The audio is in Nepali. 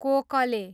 कोकले